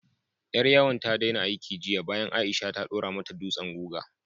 Ƴar yawon ta daina aiki jiya bayan Aisha ta ɗora mata dutsen guga.